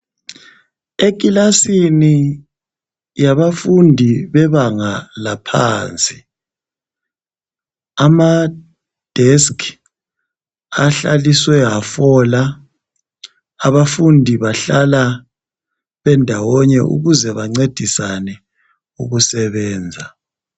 Ekilasini yabafundi bebanga laphansi amatafula ahlaliswe afola abafundi bahlala bendawonye ukuze bancedisane ukusebenza.